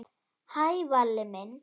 Hæ, Valli minn.